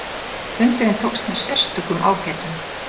Fundurinn tókst með sérstökum ágætum.